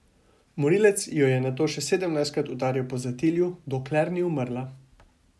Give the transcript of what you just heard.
Morilec jo je nato še sedemnajstkrat udaril po zatilju, dokler ni umrla.